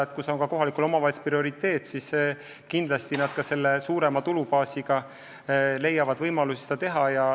Ent kui see on omavalitsustele prioriteet, siis suurema tulubaasi korral nad kindlasti leiavad võimalusi seda teha.